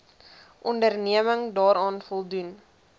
onderneming daaraan voldoen